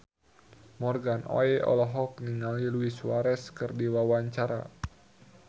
Morgan Oey olohok ningali Luis Suarez keur diwawancara